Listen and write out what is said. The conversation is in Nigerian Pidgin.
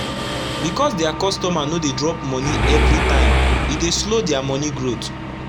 becos dia customer no dey drop moni everi tym e dey slow dia moni growth